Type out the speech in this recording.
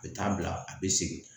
U bɛ taa bila a bɛ segin